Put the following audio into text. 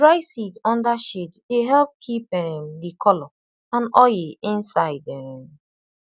to dry seed under shade dey help keep um the color and oil inside um